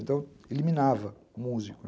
Então, eliminava músico.